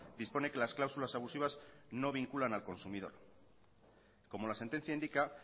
dispone que las cláusulas abusivas no vinculan al consumidor como la sentencia indica